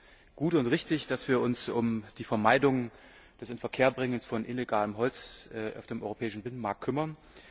Es ist gut und richtig, dass wir uns um die Vermeidung des Inverkehrbringens von illegalem Holz auf dem europäischen Binnenmarkt kümmern.